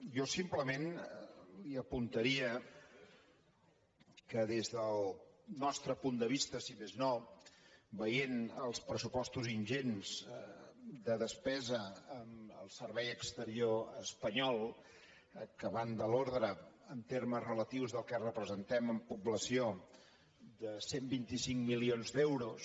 jo simplement li apuntaria que des del nostre punt de vista si més no veient els pressupostos ingents de despesa en el servei exterior espanyol que van de l’ordre en termes relatius del que representem en població de cent i vint cinc milions d’euros